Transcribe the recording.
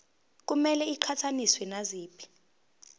kumele iqhathaniswe naziphi